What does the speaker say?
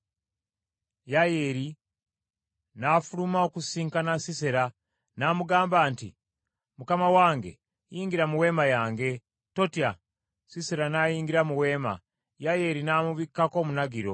Yayeeri n’afuluma okusisinkana Sisera; n’amugamba nti, “Mukama wange yingira mu weema yange, totya.” Sisera n’ayingira mu weema. Yayeeri n’amubikkako omunagiro.